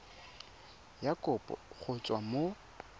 ya kopo go tswa mo